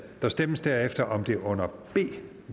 der stemmes derefter om det under b